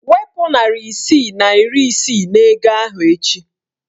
Wepu narị isii na iri isii n'ego ahụ echi!